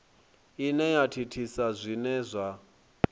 ine ya thithisa zwine zwa